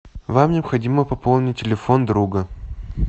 вам необходимо пополнить телефон друга